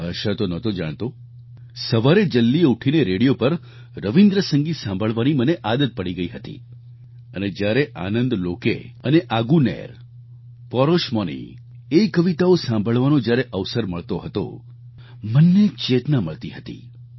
ભાષા તો નહોતો જાણતો સવારે જલ્દી ઉઠીને રેડિયો પર રવિન્દ્ર સંગીત સાંભળવાની મને આદત પડી ગઈ હતી અને જ્યારે આનંદલોકે અને આગુનેર પોરોશમોની એ કવિતાઓ સાંભળવાનો જ્યારે અવસર મળતો હતો મનને એક ચેતના મળતી હતી